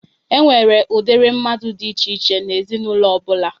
E nwere udiri mmadụ dị iche iche n'ezinaụlọ ọbụla.